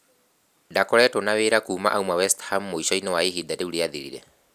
Ndakoretwo na wĩra kuuma aume West Ham mũico-inĩ wa ihinda rĩu riathirire.